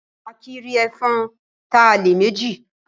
Akìí rí ẹfọ̀n ta lẹ́ẹ̀ mejì